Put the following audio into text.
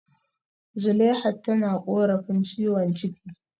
Zuleihat tana korafin ciwon ciki